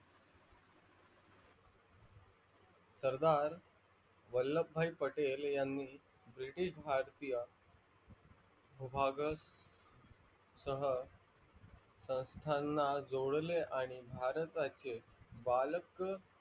सरदार वल्लभभाई पटेलयांनी british भारतिये विभागात तह संस्थाणा जोडले आणि भारताचे बालक